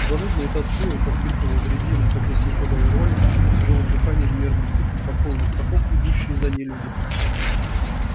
занудно и тоскливо поскрипывала дрезина катясь в никуда и рвали тишину тяжёлым дыханием и мерным стуком подкованных сапог идущие за ней люди